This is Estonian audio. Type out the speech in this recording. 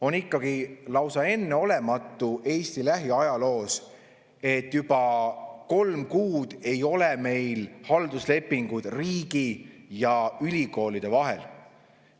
On ikkagi lausa enneolematu, Eesti lähiajalugu vaadates, et juba kolm kuud ei ole meil halduslepinguid riigi ja ülikoolide vahel.